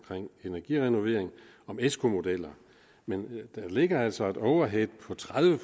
energirenovering om esco modeller men der ligger altså et overhead på tredive